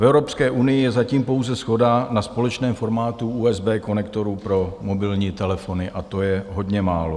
V Evropské unii je zatím pouze shoda na společném formátu USB konektorů pro mobilní telefony, a to je hodně málo.